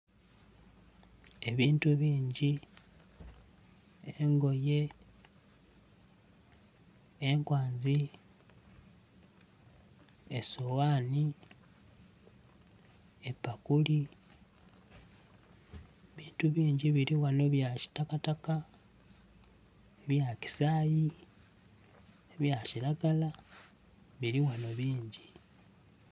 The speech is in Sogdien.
Ebintu bingi engoye, enkwanzi, esowani, epakuli ebintu bingi birighano ebya kitakataka, ebya kisayi, ebya kiragala biri ghanho bingi